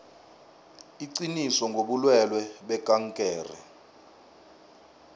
iqiniso ngobulwelwe bekankere